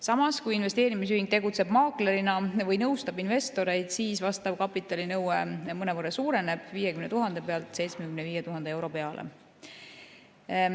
Samas, kui investeerimisühing tegutseb maaklerina või nõustab investoreid, siis vastav kapitalinõue mõnevõrra suureneb, 50 000 euro pealt 75 000 peale.